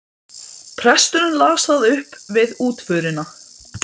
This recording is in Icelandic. Sigurjón Guðjónsson, síðar prestur í Saurbæ og prófastur.